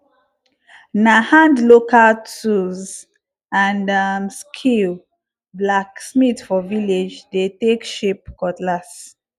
na hand local tools and um skill blacksmith for village dey take shape cutlass